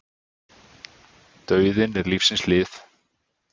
Dauðinn er lífsins hlið.